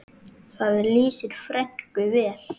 Það lýsir frænku vel.